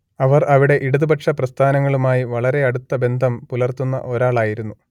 അവർ അവിടെ ഇടതുപക്ഷപ്രസ്ഥാനങ്ങളുമായി വളരെ അടുത്ത ബന്ധം പുലർത്തുന്ന ഒരാളായിരുന്നു